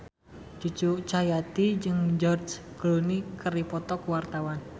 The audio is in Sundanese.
Cucu Cahyati jeung George Clooney keur dipoto ku wartawan